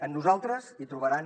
en nosaltres hi trobaran